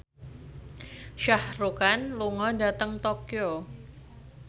Shah Rukh Khan lunga dhateng Tokyo